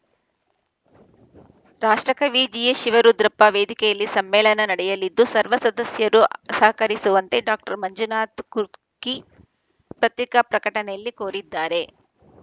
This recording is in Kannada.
ರಾಷ್ಟ್ರಕವಿ ಜಿಎಸ್‌ ಶಿವರುದ್ರಪ್ಪ ವೇದಿಕೆಯಲ್ಲಿ ಸಮ್ಮೇಳನ ನಡೆಯಲಿದ್ದು ಸರ್ವ ಸದಸ್ಯರು ಸಹಕರಿಸುವಂತೆ ಡಾಕ್ಟರ್ ಮಂಜುನಾಥ ಕುರ್ಕಿ ಪತ್ರಿಕಾ ಪ್ರಕಟಣೆಯಲ್ಲಿ ಕೋರಿದ್ದಾರೆ